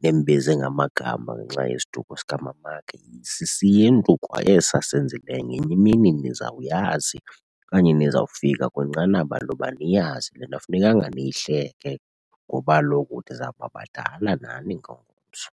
nimbize ngamagama ngenxa yesiduko sikamamakhe. SisiNtu kwa esi asenzileyo, ngenye imini nizawuyazi okanye nizawufika kwinqanaba loba niyazi le nto. Akufunekanga niyihleke ngoba kaloku nizawuba badala nani ngomso.